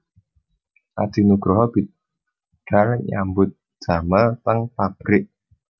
Adi Nugroho bidal nyambut damel teng pabrik